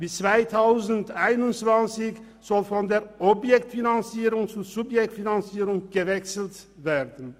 Bis 2021 soll von der Objekt- zur Subjektfinanzierung gewechselt werden.